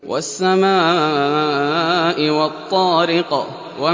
وَالسَّمَاءِ وَالطَّارِقِ